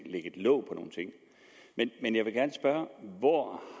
låg på nogle ting men jeg vil gerne spørge hvor